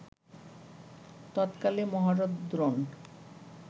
তৎকালে মহারথ দ্রোণ